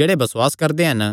जेह्ड़े बसुआस करदे हन